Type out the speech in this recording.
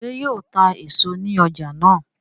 ṣe yíò tá èso ní ọjà náa?